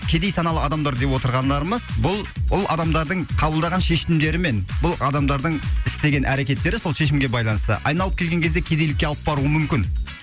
кедей саналы адамдар деп отырғандарымыз бұл бұл адамдардың қабылдаған шешімдері мен бұл адамдардың істеген әрекеттері сол шешімге байланысты айналып келген кезде кедейлікке алып баруы мүмкін